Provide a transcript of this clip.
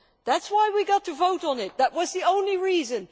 That is why we got to vote on it, that was the only reason.